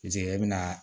e bɛ na